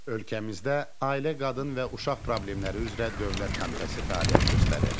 Ölkəmizdə Ailə Qadın və Uşaq Problemləri üzrə Dövlət Komitəsi fəaliyyət göstərir.